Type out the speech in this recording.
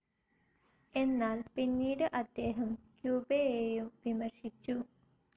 എന്നാൽ, പിന്നീട് അദ്ദേഹം ക്യൂബയേയും വിമർശിച്ചു.